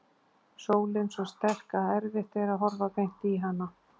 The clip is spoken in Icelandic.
Sólin svo sterk að erfitt er að horfa beint í hana.